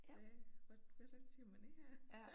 Hvad hvordan siger man det her